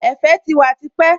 Ẹ̀fẹ̀ ti wà tipẹ́